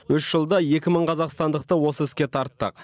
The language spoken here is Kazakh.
үш жылда екі мың қазақстандықты осы іске тарттық